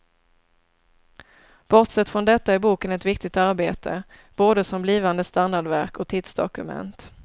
Bortsett från detta är boken ett viktigt arbete, både som blivande standardverk och tidsdokument.